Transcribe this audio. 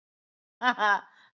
Nei, ha, ha.